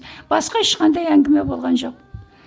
басқа ешқандай әңгіме болған жоқ